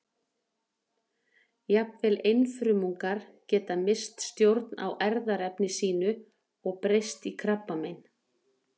Jafnvel einfrumungar geta misst stjórn á erfðaefni sínu og breyst í krabbamein.